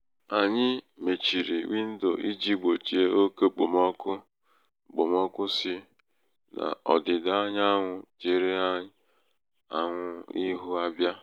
anyị mechiri windo iji gbochie oke okpomọkụ okpomọkụ si n'ọdida anyanwụ chere anwụ ihu abịa